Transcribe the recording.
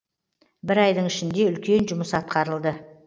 бір айдың ішінде үлкен жұмыс атқарылды